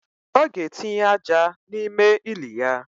O ga etinye aja na ime ili ya